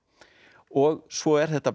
og svo er þetta